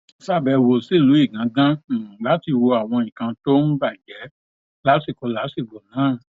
ṣàbẹwò sílùú igangan um láti wo àwọn nǹkan tó um bàjẹ lásìkò làásìgbò náà